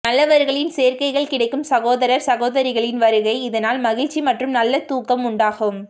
நல்லவர்களின் சேர்க்கைகள் கிடைக்கும் சகோதரர் சகோதரிகளின் வருகை இதனால் மகிழ்ச்சி மற்றும் நல்ல தூக்கம் உண்டாகும்